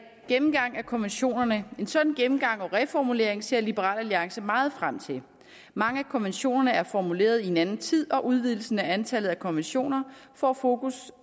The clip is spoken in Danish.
gennemgang af konventionerne en sådan gennemgang og reformulering ser liberal alliance meget frem til mange af konventionerne er formuleret i en anden tid og udvidelsen af antallet af konventioner får fokus